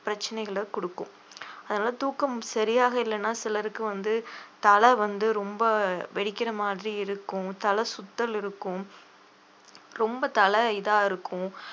பிரச்சனைகளை குடுக்கும் அதனால தூக்கம் சரியாக இல்லைன்னா சிலருக்கு வந்து தலை வந்து ரொம்ப வெடிக்கிற மாதிரி இருக்கும் தலைசுத்தல் இருக்கும் ரொம்ப தலை இதா இருக்கும்